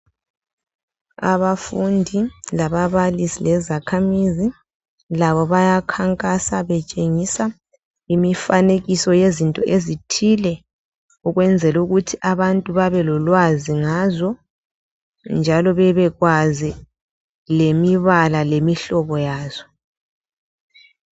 Abafundi lababalisi lezakhamizi labo bayakhakhansa betshengisa imifanekiso yezinto ezithile. Ukwenzela ukuthi abantu bebelolwazi ngazo njalo bebekwazi lemibala lemihlobo yazo.